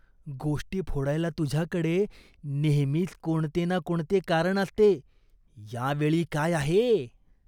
गोष्टी फोडायला तुझ्याकडे नेहमीच कोणते ना कोणते कारण असते. या वेळी काय आहे?